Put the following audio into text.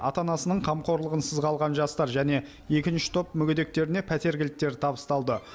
ата анасының қамқорлығынсыз қалған жастар және екінші топ мүгедектеріне пәтер кілттері табысталды